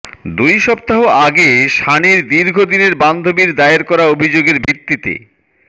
দুই সপ্তাহ আগে সানির দীর্ঘ দিনের বান্ধবীর দায়ের করা অভিযোগের ভিত্তিতে